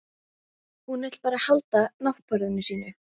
Hún vill bara halda náttborðinu sínu.